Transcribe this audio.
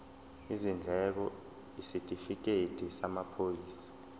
izindleko isitifikedi samaphoyisa